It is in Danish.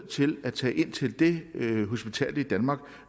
til at tage ind til det hospital i danmark